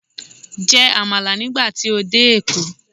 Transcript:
Jẹ Àmàlà nígbà tí o dé èkó